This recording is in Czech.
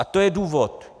A to je důvod.